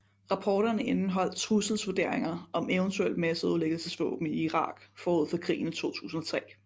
Rapporterne indeholdt trusselsvurderinger om eventuelle masseødelæggelsesvåben i Irak forud for krigen i 2003